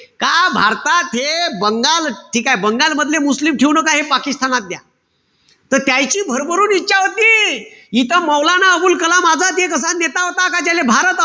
का भारतात हे बंगाल ठीकेय? बंगालमधले मुस्लिम ठेऊ नका हे पाकिस्तानात द्या. त त्याईची भरभरून इच्छा होती. इथं मौलाना अबुल कलाम आझाद एक असा नेता होता का त्याले भारत,